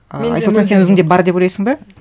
і айсұлтан сен өзіңде бар деп ойлайсың ба